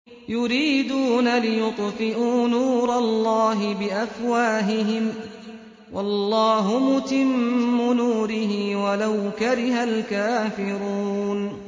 يُرِيدُونَ لِيُطْفِئُوا نُورَ اللَّهِ بِأَفْوَاهِهِمْ وَاللَّهُ مُتِمُّ نُورِهِ وَلَوْ كَرِهَ الْكَافِرُونَ